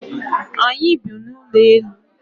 Anyị bi n'ụlọelu.